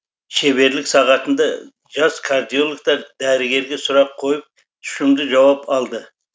шеберлік сағатында жас кардиологтар дәрігерге сұрақ қойып тұщымды жауап алды